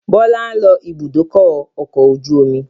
Bọlá ń lọ ibùdókọ̀ ọkọ̀ ojú omi